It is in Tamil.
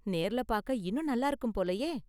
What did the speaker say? நேர்ல பார்க்க இன்னும் நல்லா இருக்கும் போலயே?